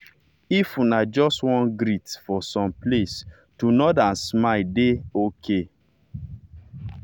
if una just wan greet for some place to nod and smile don dey ok.